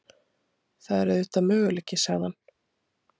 Það er auðvitað möguleiki sagði hann.